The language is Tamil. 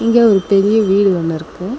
இங்க ஒரு பெரிய வீடு ஒன்னிருக்கு.